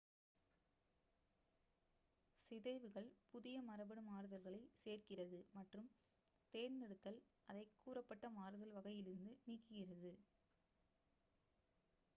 சிதைவுகள் புதிய மரபணு மாறுதல்களை சேர்க்கிறது மற்றும் தேர்ந்தெடுத்தல் அதை கூறப்பட்ட மாறுதல் வகையிலிருந்து நீக்குகிறது